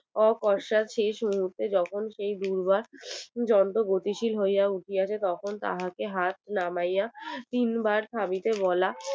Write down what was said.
পশ্চাৎ শেষ মুহূর্তে যখন সেই দূর্বা গতিশীল হইয়া উঠিয়াছে তখন তাকে হাত নামাইয়া তিন বার খাবিতে বলা